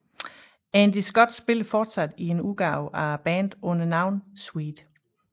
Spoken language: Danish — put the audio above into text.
Andy Scott spiller fortsat i en udgave af bandet under navnet Sweet